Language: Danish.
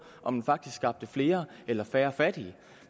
om den faktisk skabte flere eller færre fattige